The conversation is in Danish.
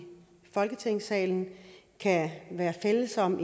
folketingssalen kan være fælles om